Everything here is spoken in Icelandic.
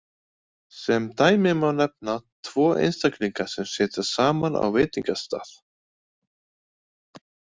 Sem dæmi má nefna tvo einstaklinga sem sitja saman á veitingastað.